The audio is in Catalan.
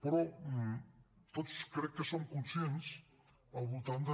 però tots crec que som conscients al voltant de